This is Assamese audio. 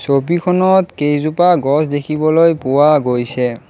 খনত কেইজোপা গছ দেখিবলৈ পোৱা গৈছে।